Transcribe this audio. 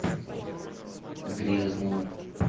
грязнова